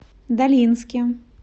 долинске